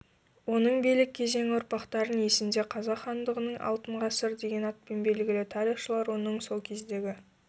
оның билік кезеңі ұрпақтардың есінде қазақ хандығының алтын ғасырдеген атпен белгілі тарихшылар оның сол кездегі